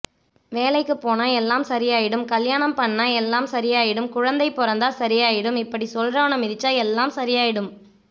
வேலைக்குபோனா எல்லாம் சரியாயிடும் கல்யாணம் பன்னுனா எல்லாம் சரியாயிடும் குழந்தை பொறந்தா சரியாயிடும் இப்டி சொல்றவன மிதிச்சா எல்லாம் சரியாயிடும்